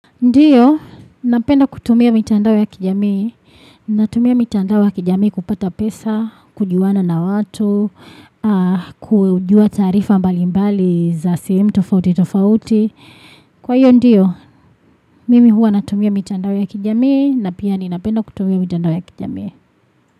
Ndiyo, napenda kutumia mitandao ya kijamii. Natumia mitandao ya kijamii kupata pesa, kujuana na watu, kujua taarifa mbali mbali za sehemu tofauti tofauti. Kwa hiyo ndiyo, mimi huwa natumia mitandao ya kijamii, na pia ni napenda kutumia mitandao ya kijamii.